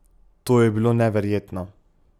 To je bilo neverjetno.